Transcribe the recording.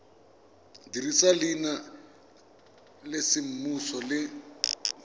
dirisa leina la semmuso le